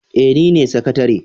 Eh nine sakatare.